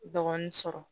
Bagan sɔrɔ